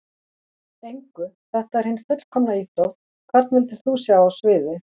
Engu, þetta er hin fullkomna íþrótt Hvern vildir þú sjá á sviði?